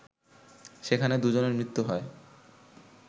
সেখানে দুজনের মৃত্যু হয়